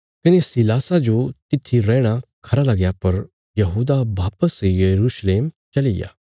कने सीलासा जो तित्थी रैहणा खरा लगया पर यहूदा वापस यरूशलेम चलिग्या